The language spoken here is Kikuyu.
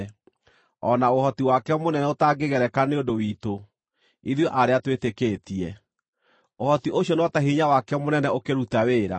o na ũhoti wake mũnene ũtangĩgereka nĩ ũndũ witũ, ithuĩ arĩa twĩtĩkĩtie. Ũhoti ũcio no ta hinya wake mũnene ũkĩruta wĩra,